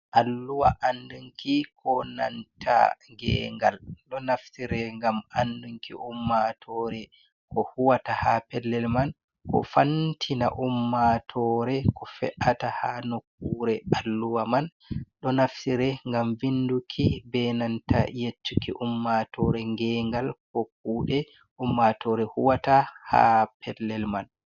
Alluwa, Andunki Ko Nanta Gengal Ɗo Naftire Gam Anɗunki Ummatore Ko Huwata Ha Pellel Man, Ko Fantina Ummatore Ko Fe’ata Ha Nokkure Alluwaman, Ɗo Naftire Gam Vinduki Ɓenanta Yeccuki Ummatore Gengal Ko kude Ummatore Huwata Ha Pellel Man.